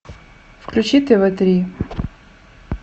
включи тв три